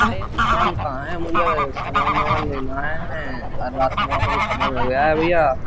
यह दुकान कहां है मुझे सामान लेना है और राशन वाशन खत्म हो गया है भैया।